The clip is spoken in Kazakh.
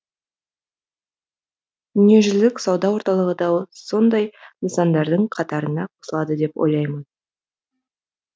дүниежүзілік сауда орталығы да сондай нысандардың қатарына қосылады деп ойлаймын